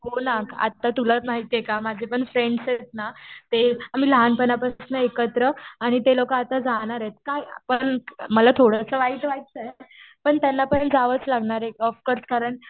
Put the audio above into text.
हो ना आता तुला माहितीये का माझे पण फ्रेंड्स आहेत ना ते आम्ही लहानपणापासनं एकत्र आणि ते लोकं आता जाणार आहेत. काय पण मला थोडंसं वाईट वाटतंय. पण त्यांना पण जावंच लागणार आहे. ऑफ कोर्स कारण